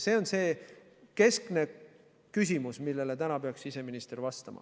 See on keskne küsimus, millele täna peaks siseminister vastama.